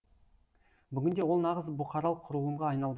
бүгінде ол нағыз бұқаралық құрылымға айналды